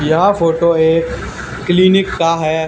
यह फोटो एक क्लीनिक का है।